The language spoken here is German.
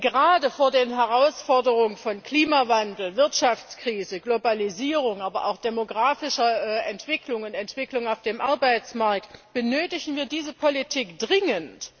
Gerade vor den Herausforderungen von Klimawandel, Wirtschaftskrise, Globalisierung, aber auch demographischer Entwicklungen, Entwicklungen auf dem Arbeitsmarkt benötigen wir diese Politik dringend.